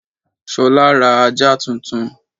Ṣolá ra ajá tuntun.